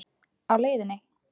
Á leiðinni?